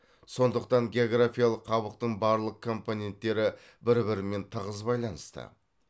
сондықтан географиялық қабықтың барлық компоненттері бір бірімен тығыз байланысты